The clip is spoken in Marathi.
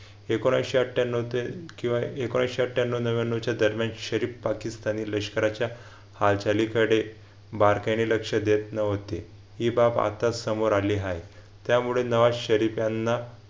एकोणविशे अठ्ठयांनाव ते किंवा एकोणविशे अठ्ठयांनाव नव्व्यान्नव च्या दरम्यान शरीफ पाकिस्तानी लष्कराच्या हालचालीकडे बारकाईने लक्ष देत नव्हते ही बाब आता समोर आली आहे. त्यामुळे नवा शरीफ यांना